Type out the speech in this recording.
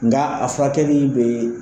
Nga a furakɛli bɛ